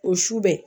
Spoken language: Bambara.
O su bɛɛ